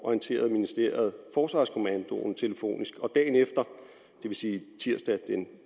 orienterede ministeriet forsvarskommandoen telefonisk og dagen efter det vil sige tirsdag den